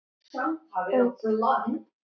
En það verður dýrt.